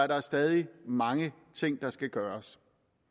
der stadig mange ting der skal gøres